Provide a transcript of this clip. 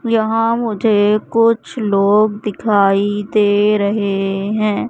यहां मुझे कुछ लोग दिखाई दे रहे है।